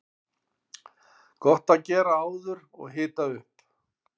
Gott að gera áður og hita upp.